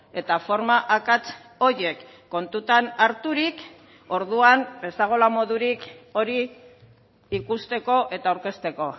eta forma akats horiek kontutan harturik orduan ez dagoela modurik hori ikusteko eta aurkezteko